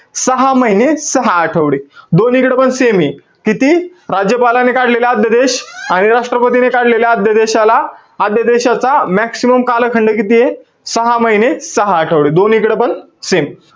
सहा महिने, सहा आठवडे. दोन्हीकडे पण same ए. किती? राज्यपालाने काढलेले आद्यदेश आणि राष्ट्रपतीने काढलेले आद्यदेशाला, आद्यदेशाचा maximum कालखंड कितीय? सहा महिने, सहा आठवडे दोन्हीकडे पण same.